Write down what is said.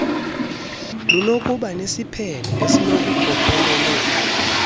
lunokuba nesiphene esinokukhokelela